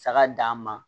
Saga d'an ma